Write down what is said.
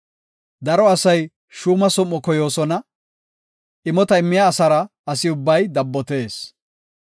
Daro asay shuuma som7o koyoosona; imota immiya asara asi ubbay dabbotees.